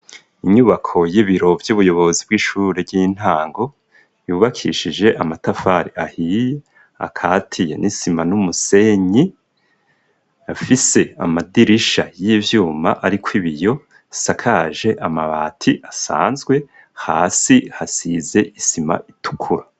Inyubako, y'ibiro vy'ubuyobozi bw'ishure ry'intango, yubakishije amatafari ahiye, akatiye n'isima, n'umusenyi; afise amadirisha y'ivyuma, ariko ibiyo, asakaje amabati, asanzwe; hasi, hasize isima itukura.